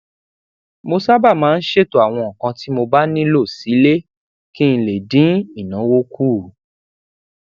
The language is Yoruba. mo sábà máa ń ṣètò àwọn nǹkan tí mo bá nilo sile kí n lè dín ìnáwó kù